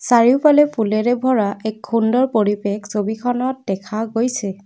চাৰিওফালে ফুলেৰে ভৰা এক সুন্দৰ পৰিৱেশ ছবিখনত দেখা গৈছে।